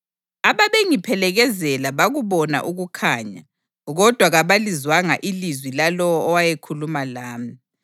Ababengiphelekezela bakubona ukukhanya, kodwa kabalizwanga ilizwi lalowo owayekhuluma lami.